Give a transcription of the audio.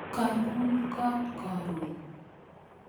kaiun kot karon